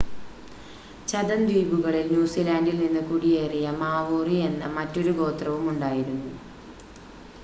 ഛതം ദ്വീപുകളിൽ ന്യൂസിലാൻഡിൽ നിന്ന് കുടിയേറിയ മാവോറി എന്ന മറ്റൊരു ഗോത്രവും ഉണ്ടായിരുന്നു